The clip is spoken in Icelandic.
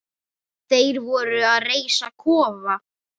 Þeir voru að reisa kofa.